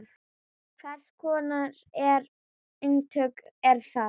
Hvers konar eintök eru það?